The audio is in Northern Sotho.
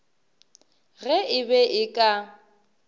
ge e be e ka